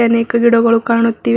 ಅನೇಕ ಗಿಡಗಳು ಕಾಣುತ್ತಿವೆ ಒಬ್...